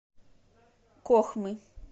кохмы